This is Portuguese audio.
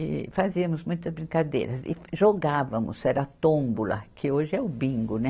E fazíamos muitas brincadeiras e jogávamos, era tômbola, que hoje é o bingo, né?